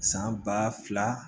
San ba fila